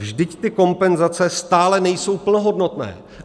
Vždyť ty kompenzace stále nejsou plnohodnotné.